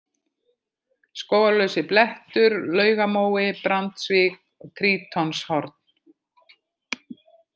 Skógarlausiblettur, Laugamói, Brandsvík, Trítonshorn